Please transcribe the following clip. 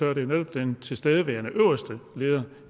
er det jo netop den tilstedeværende øverste leder